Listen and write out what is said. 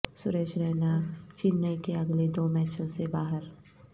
سریش رینا چنئی کے اگلے دو میچوں سے باہر